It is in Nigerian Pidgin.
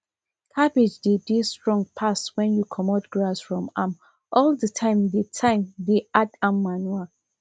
cabbage dey dey strong pass when you comot grass from am all the time dey time dey add am manure